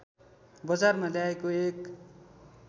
बजारमा ल्याएको एक